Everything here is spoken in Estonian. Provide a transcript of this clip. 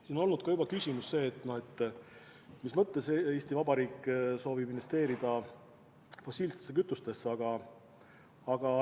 Siin on juba kõlanud küsimus, mis mõttes Eesti Vabariik soovib investeerida fossiilsetesse kütustesse.